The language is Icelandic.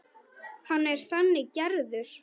Hann er þannig gerður.